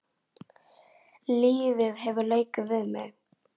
Lífið hefur leikið við mig.